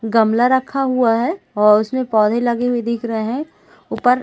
गमला रखा हुआ है और उसमे पौधे लगे हुए दिख रहे है ऊपर--